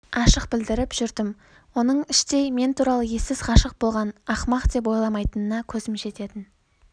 ашық білдіріп жүрдім оның іштей мен туралы ессіз ғашық болған ақымақ деп ойламайтынына көзім жететін